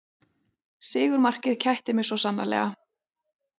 Sigurmarkið kætti mig svo sannarlega